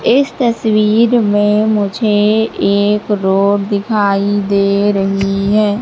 इस तस्वीर में मुझे एक रोड दिखाई दे रही है।